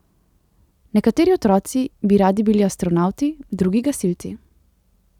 Nekateri otroci bi radi bili astronavti, drugi gasilci.